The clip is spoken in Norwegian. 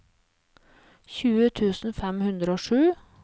tjue tusen fem hundre og sju